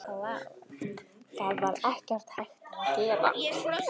Það var ekkert hægt að gera.